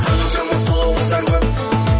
қаншама сұлу қыздар көп